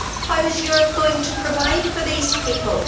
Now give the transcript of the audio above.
How is Europe going to provide for these people?